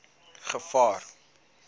gevaar